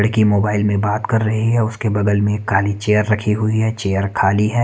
लड़की मोबाइल में बात कर रही है उसके बगल में खाली चेयर रखी हुई है चेयर खाली है।